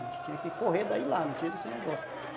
A gente tinha que correr daí e lá, não tinha esse negócio.